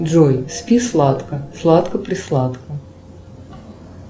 джой спи сладко сладко присладко